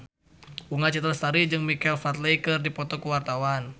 Bunga Citra Lestari jeung Michael Flatley keur dipoto ku wartawan